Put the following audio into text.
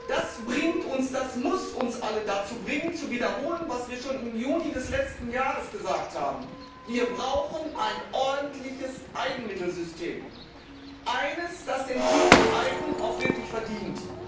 Das muss uns alle dazu bringen zu wiederholen, was wir schon im Juni des letzten Jahres gesagt haben Wir brauchen ein ordentliches Eigenmittelsystem, eines, das die Bezeichnung eigen auch wirklich verdient.